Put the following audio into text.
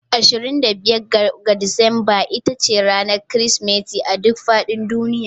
25 ga Disamba ita ce ranar Kirsimeti a duk faɗin duniya